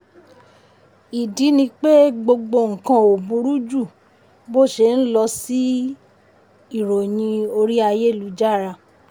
ìdí ni pé gbogbo nǹkan ò burú ju bó ṣe rí lọ ṣí i ìròyìn orí ayélujára.